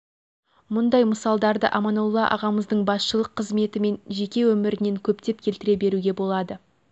мұндай мысалдарды аманолла ағамыздың басшылық қызметі мен жеке өмірінен көптеп келтіре беруге болады